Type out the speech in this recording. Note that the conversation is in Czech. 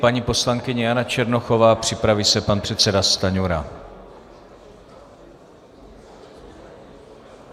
Paní poslankyně Jana Černochová, připraví se pan předseda Stanjura.